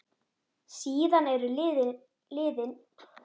Síðan eru liðin níu ár.